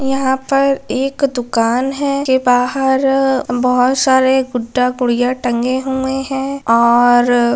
यहां पर एक दुकान है के बाहर बहुत सारे गुड्डा गुड़िया टंगे हुए हैं और --